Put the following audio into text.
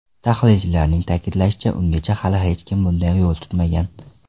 Tahlilchilarning ta’kidlashicha, ungacha hali hech kim bunday yo‘l tutmagan.